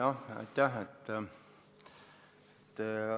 Aitäh!